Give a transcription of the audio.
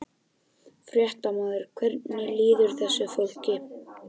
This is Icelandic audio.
Fréttamaður: Hvernig líður þessu fólki?